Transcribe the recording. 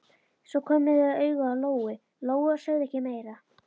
Svo komu þau auga á Lóu-Lóu og sögðu ekkert meira.